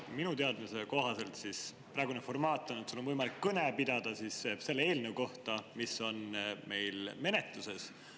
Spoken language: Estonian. Minu teadmise kohaselt praegune formaat on, et sul on võimalik kõne pidada selle eelnõu kohta, mis on meil menetluses.